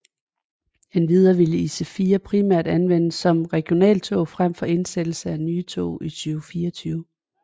Endvidere ville IC4 primært anvendes som regionaltog frem mod indsættelsen af nye tog i 2024